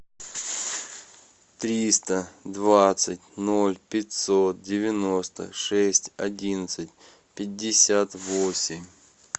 триста двадцать ноль пятьсот девяносто шесть одиннадцать пятьдесят восемь